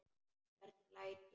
Hvernig læt ég.